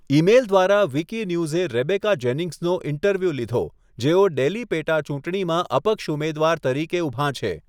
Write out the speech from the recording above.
Email દ્વારા, વિકિન્યૂઝે Rebecca જેનિંગ્સનો ઈન્ટરવ્યુ લીધો, જેઓ ડેલી પેટાચૂંટણીમાં અપક્ષ ઉમેદવાર તરીકે ઊભાં છે.